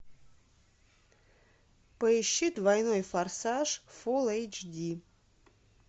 поищи двойной форсаж фулл эйч ди